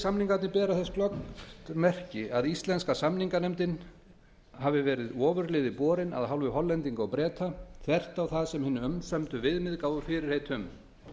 samningarnir bera þess glöggt merki að íslenska samninganefndin hafi verið ofurliði borin af hálfu hollendinga og breta þvert á það sem hin umsömdu viðmið gáfu fyrirheit um